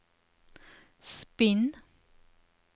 spinn